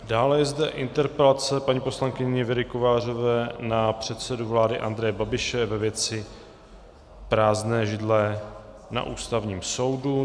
Dále je zde interpelace paní poslankyně Věry Kovářové na předsedu vlády Andreje Babiše ve věci prázdné židle na Ústavním soudu.